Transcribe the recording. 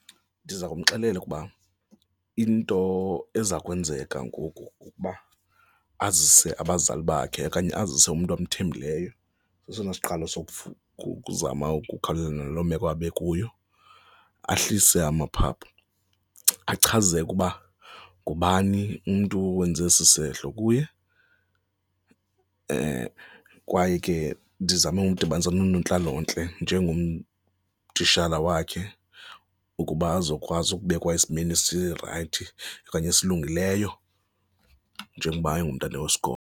Ndiza kumxelela ukuba into eza kwenzeka ngoku kukuba azise abazali bakhe okanye azise umntu amthembileyo, sesona siqalo uzama ukukhawulelana naloo meko abe kuyo, ahlise amaphaphu. Achaze ke uba ngubani umntu owenze esisehlo kuye, kwaye ke ndizame umdibanisa noonontlalontle njengotitshala wakhe ukuba azokwazi ukubekwa esimeni sirayithi okanye esilungileyo njengoba engumntana wesikolo.